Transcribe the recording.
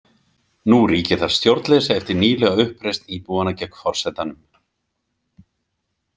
Nú ríkir þar stjórnleysi eftir nýlega uppreisn íbúanna gegn forsetanum.